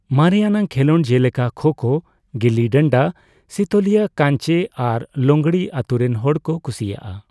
ᱢᱟᱨᱮᱭᱟᱱᱟᱜ ᱠᱷᱮᱞᱳᱰ ᱡᱮᱞᱮᱠᱟ ᱠᱷᱳ ᱠᱷᱳ, ᱜᱤᱞᱞᱤ ᱰᱟᱱᱰᱟ, ᱥᱤᱛᱳᱞᱤᱭᱟᱹ ᱠᱟᱧᱪᱮ ᱟᱨ ᱞᱚᱝᱲᱤ ᱟᱛᱳ ᱨᱮᱱ ᱦᱚᱲ ᱠᱚ ᱠᱩᱥᱤᱭᱟᱜᱼᱟ ᱾